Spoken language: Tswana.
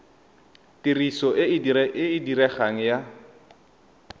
tiriso e e diregang ya